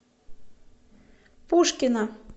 пушкино